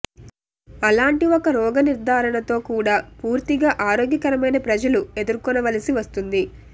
అలాంటి ఒక రోగ నిర్ధారణ తో కూడా పూర్తిగా ఆరోగ్యకరమైన ప్రజలు ఎదుర్కొనవలసి వస్తుంది